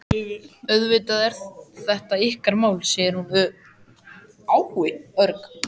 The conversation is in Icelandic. Auðvitað er þetta ykkar mál, segir hún örg.